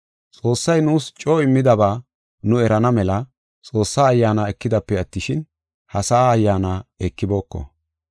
Xoossay nuus coo immidaba nu erana mela Xoossa Ayyaana ekidaape attishin, ha sa7a ayyaana ekibooko.